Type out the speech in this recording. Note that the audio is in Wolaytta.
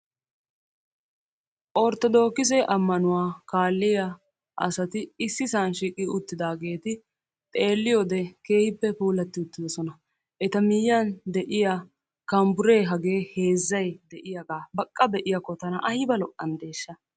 orttodookise ammanuwaa kaaliyaa asati issisan shiiqi uttidaageti xeeliyoodee kehiippe puulatti uutidoosona. eta miyiyaan de'iyaa kanbburee hagee heezzay diyaagaa baqqa be'iyaako tanna aybba lo''anadeesha.